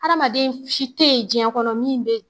Adamaden si te ye diɲɛ kɔnɔ min be